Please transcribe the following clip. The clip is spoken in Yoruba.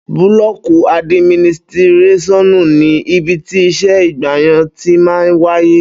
Búlọkí àdímínítirẹsiọnú ni ìbítí ìsẹ ìgbàyàn tímà wàyé